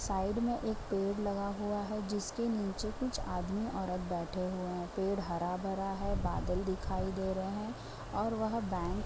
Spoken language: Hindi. साइड में एक पेड़ लगा हुआ है जिसके नीचे कुछ आदमी ओरत बेठे हुए है पेड़ हर भरा है बादल दिखाई दे रहे है और वह बैंक --